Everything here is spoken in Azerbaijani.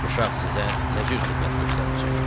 Uşaq sizə nə cür xidmət göstərəcək?